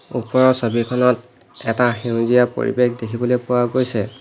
ওপৰৰ ছবিখনত এটা সেউজীয়া পৰিৱেশ দেখিবলৈ পোৱা গৈছে।